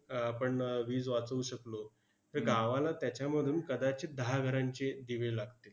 आह आपण वीज वाचवू शकलो, तर गावाला त्याच्यामुळे धरून कदाचित दहा घरांचे दिवे लागतील.